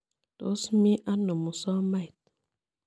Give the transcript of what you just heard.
Tos mi ano musomait?